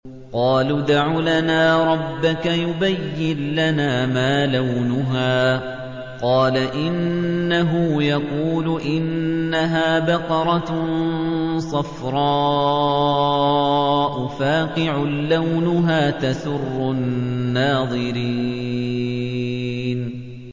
قَالُوا ادْعُ لَنَا رَبَّكَ يُبَيِّن لَّنَا مَا لَوْنُهَا ۚ قَالَ إِنَّهُ يَقُولُ إِنَّهَا بَقَرَةٌ صَفْرَاءُ فَاقِعٌ لَّوْنُهَا تَسُرُّ النَّاظِرِينَ